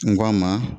N ko a ma